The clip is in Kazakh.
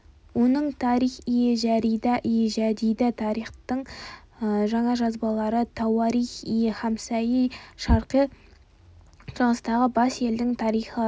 оның тарих-и жәридә-и жәдидә тарихтың жаңа жазбалары тауарих-и хамсайи шарқи шығыстағы бес елдің тарихы